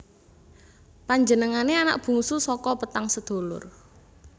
Panjenengané anak bungsu saka petang sedulur